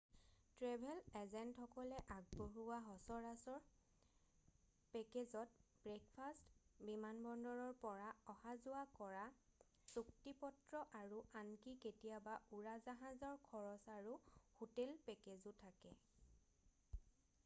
travel এজেণ্টসকলে আগবঢ়োৱা সচৰাচৰ পেকেজত ব্ৰেকফাৰ্ষ্ট বিমানবন্দৰৰ পৰা অহা-যোৱা কৰা চুক্তিপত্ৰ আৰু আনকি কেতিয়াবা উৰাজাহাজৰ খৰচ আৰু হোটেল পেকেজো থাকে